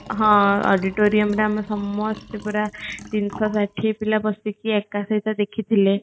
ହଁ auditorium ଡା ଆମେ ସମସ୍ତେ ପୁରା ତିନିଶ ହ ଷାଠିଏ ପିଲା ବସିକି ଏକା ସହିତ ଦେଖିଥିଲେ